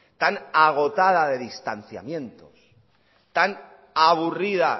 tan agotada de distanciamientos tan aburrida